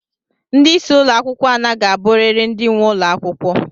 Ndị isi ụlọ akwụkwọ a naghị aburiri ndị nwe ụlọ akwụkwọ.